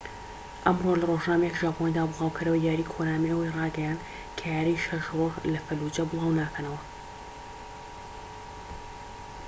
ئەمڕۆ لە رۆژنامەیەکی ژاپۆنیدا بڵاوکەرەوەی یاری کۆنامی ئەوەی ڕایگەیاند کە یاری شەش ڕۆژ لە فەلوجە بڵاو ناکەنەوە